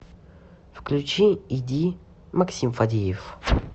включи иди максим фадеев